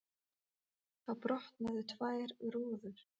Þá brotnuðu tvær rúður.